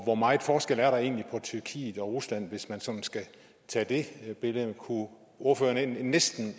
hvor meget forskel er der egentlig på tyrkiet og rusland hvis man sådan skal tage det billede kunne ordføreren ikke næsten